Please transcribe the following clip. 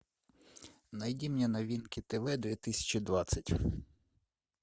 найди мне новинки тв две тысячи двадцать